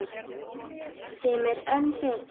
Sem er enn betra.